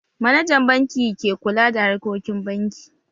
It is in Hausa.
Manajan banki ke kula da harkokin banki